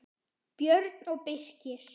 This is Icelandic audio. Björn og Birkir.